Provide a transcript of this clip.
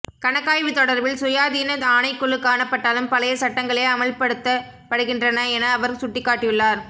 கணக்காய்வு தொடர்பில் சுயாதீன ஆணைக்குழு காணப்பட்டாலும் பழைய சட்டங்களே அமுல்படுத்தப்படுகின்றன என அவர் சுட்டிக்காட்டியுள்ளார்